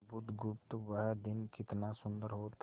बुधगुप्त वह दिन कितना सुंदर होता